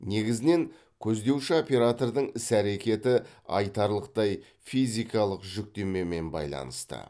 негізінен көздеуші оператордың іс әрекеті айтарлықтай физикалық жүктемемен байланысты